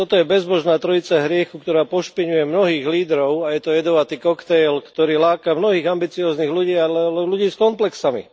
Toto je bezbožná trojica hriechu, ktorá pošpiňuje mnohých lídrov a je to jedovatý kokteil, ktorý láka mnohých ambicióznych ľudí, ale len ľudí s komplexami.